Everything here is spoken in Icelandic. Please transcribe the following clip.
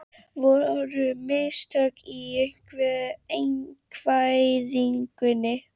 Voru mistök í einkavæðingunni?